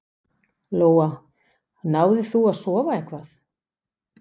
Lóa: Náðir þú að sofa eitthvað?